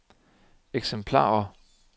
eksemplarer